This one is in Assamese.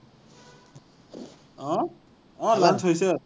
অ, অ lunch হৈছে।